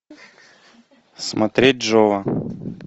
смотреть джова